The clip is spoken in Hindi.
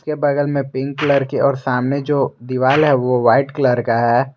के बगल मे पिंक कलर की और सामने जो दीवार है वो वाइट कलर का है।